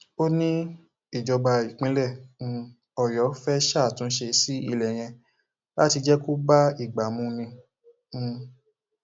ó ní ìjọba ìpínlẹ um ọyọ fẹẹ ṣàtúnṣe sí ilé yẹn láti jẹ kó bá ìgbà mu ni um